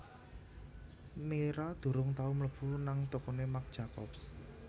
Mira durung tau mlebu nang tokone Marc Jacobs